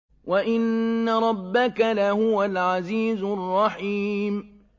وَإِنَّ رَبَّكَ لَهُوَ الْعَزِيزُ الرَّحِيمُ